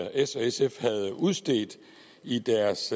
og sf havde udstedt i deres